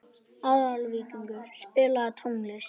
Aðalvíkingur, spilaðu tónlist.